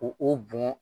Ko o bɔn